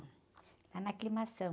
Lá na.